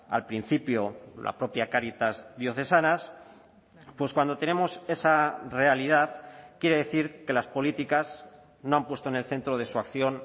al principio la propia cáritas diocesanas pues cuando tenemos esa realidad quiere decir que las políticas no han puesto en el centro de su acción